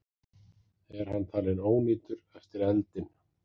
Er hann talinn ónýtur eftir eldinn